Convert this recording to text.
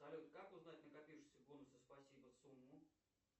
салют как узнать накопившиеся бонусы спасибо сумму